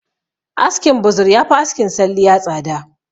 Askin buzur yafi askin salliya tsada